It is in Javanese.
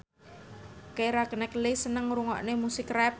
Keira Knightley seneng ngrungokne musik rap